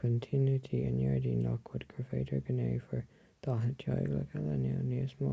creideann tionóntaí i ngairdíní lockwood gur féidir go ndéanfar 40 teaghlach eile nó níos mó